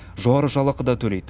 жоғары жалақы да төлейді